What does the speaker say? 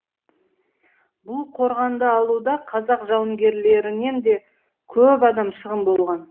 бұл қорғанды алуда қазақ жауынгерлерінен де көп адам шығын болған